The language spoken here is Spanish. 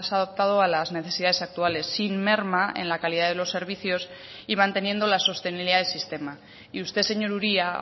adoptado a las necesidades actuales sin merma en la calidad de los servicios y manteniendo la sostenibilidad del sistema y usted señor uria